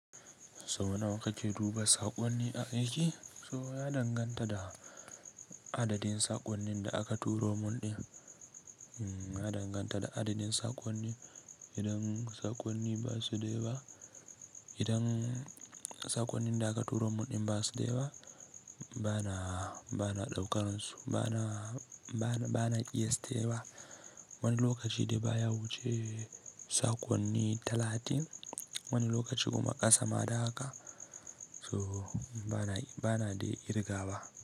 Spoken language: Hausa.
So wani waka ke duba saƙonni a aiki? So ya danganta da adadin saƙonnin da aka turo mun ɗin. Ya danganta da adadin saƙonni, idan saƙonnin da aka turo mun ɗin ba su da yawa, bana daukar musu, bana ƙiyaste wa. Wani lokaci dai baya wuce saƙonni talatin, wani lokaci kuma ƙasa ma da haka, so bana dai kirga ba.